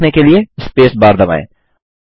जारी रखने के लिए स्पेस बार दबाएँ